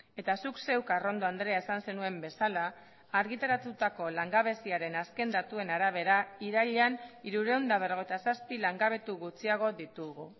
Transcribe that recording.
eta zuk zeuk arrondo andrea esan zenuen bezala argitaratutako langabeziaren azken datuen arabera irailean hirurehun eta berrogeita zazpi langabetu gutxiago ditugu